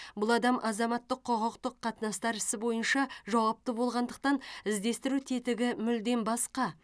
бұл адам азаматтық құқықтық қатынастар ісі бойынша жауапты болғандықтан іздестіру тетігі мүлдем басқа